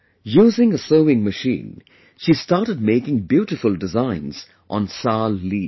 Using a sewing machine, she started making beautiful designs on 'Sal' leaves